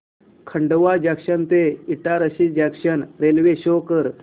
Khandwa junction ते Itarsi junction railway show कर